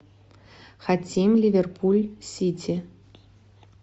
хотим ливерпуль сити